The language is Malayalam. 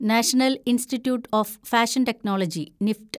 national institute of fashion technology (NEFT)